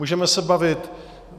Můžeme se bavit.